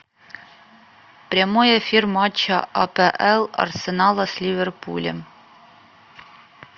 прямой эфир матча апл арсенала с ливерпулем